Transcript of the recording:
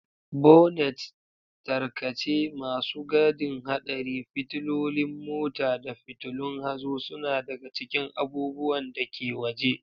Bonnets, tarkace, masu gadin haɗari, fitilolin mota, da fitulun hazo suna daga cikin abubuwan da ke waje.